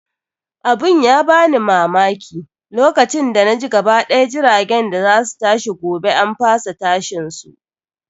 Abun ya ban mamaki, lokacin da naji gaba ɗaya jiragen da za su tashi gobe an fasa tashin su.